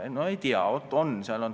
No ei tea, aga vaat on!